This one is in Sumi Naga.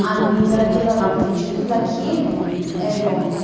ami ipeghi kela ghapnechekeu lakhi eno --